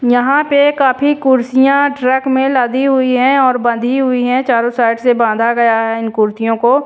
यहां पे काफी कुर्सियां ट्रक में लदी हुई है और बंधी हुई है चारों साइड से बांधा गया है इन कुर्सियों को।